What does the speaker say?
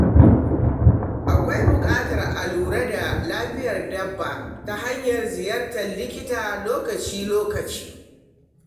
Akwai buƙatar a kula da lafiyar dabba ta hanyar ziyartar likita lokaci-lokaci.